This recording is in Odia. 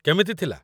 କେମିତି ଥିଲା ?